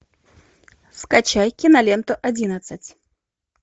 скачай киноленту одиннадцать